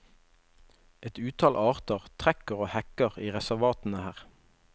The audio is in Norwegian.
Et utall arter trekker og hekker i reservatene her.